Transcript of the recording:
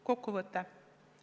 Kokkuvõte.